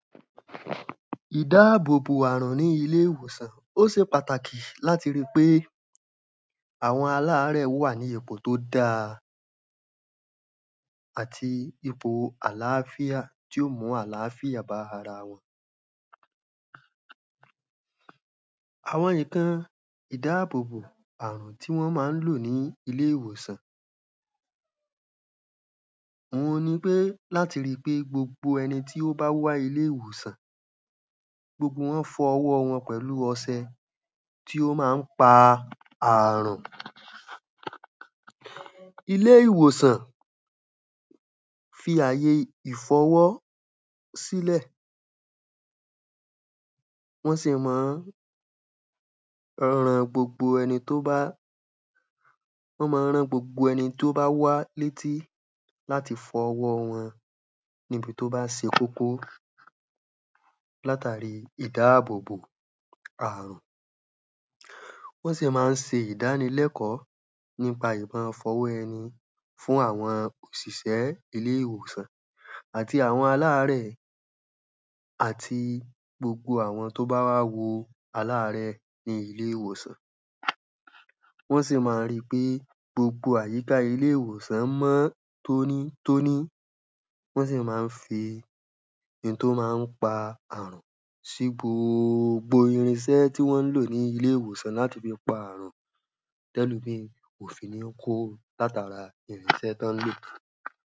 Ìdábòbò àrùn ní ilé ìwòsàn. Ó se pàtàkì láti ríi pé àwọn àláàrẹ̀ wà ní ipò tó dáa. Àti ipo àláfíà tí ó mú àláfíà bá ara wọn. Àwo̩n ǹkan ìdábòbò àrùn tí wọ́n má ń lò ní ilé ìwòsàn. Òhun ni pé láti ri pé gbogbo ẹni tó bá wá sí ilé ìwòsàn gbogbo wọ́n fọ ọwọ́ wọn pẹ̀lú ọsẹ tí o ma ń pa àrùn. Ilé ìwòsàn fi àyè ìfọwọ́ sílẹ̀. Wọ́n sì mán ran gbogbo ẹni tó bá wọ́n mán rán gbogbo ẹni tó bá wá létí láti fọ ọwọ́ wọn. Níbi tó bá se kókó. Látàri ìdábòbò àrùn. Wọ́n sì má ń se ìdánilẹ́kọ́ nípa ìmọ-fọwọ-ẹni fún àwọn òsìsẹ́ ilé ìwòsàn àti àwọn aláàrẹ̀ àti gbogbo àwọn tó bá wá wo aláàrẹ̀ ní ilé ìwòsàn. Wọ́n sì ma ri pé gbogbo àyíká ilé ìwòsàn mọ́ tóní tóní. Wọ́n sì má ń fi ńtó má a ń pa àrùn sí gbogbo irinsẹ́ tí wọ́n ń lò ní ilé ìwòsàn láti fi pa àrùn. Tẹ́lòmíì kò fi ní kó látara irinsẹ́ tọ́n lò.